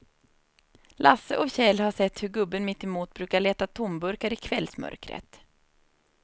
Lasse och Kjell har sett hur gubben mittemot brukar leta tomburkar i kvällsmörkret.